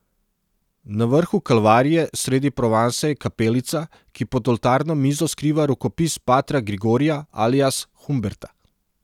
Na vrhu Kalvarije sredi Provanse je kapelica, ki pod oltarno mizo skriva rokopis patra Grigorija, alias Humberta.